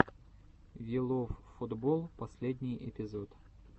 виловфутболл последний эпизод